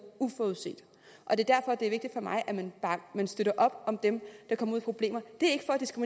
uforudset derfor er det vigtigt for mig at man støtter op om dem der kommer ud i problemer det